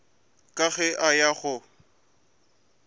ka ge a eya go